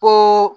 Ko